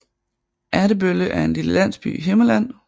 Ertebølle er en lille landsby i Himmerland